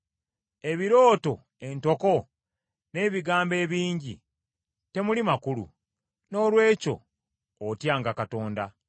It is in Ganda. Ebirooto entoko n’ebigambo ebingi temuli makulu; noolwekyo otyanga Katonda.